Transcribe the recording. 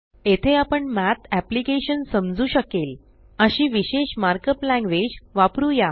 येथे आपण math application समजू शकेल अशी विशेष मार्क अप लॅंग्वेज वापरुया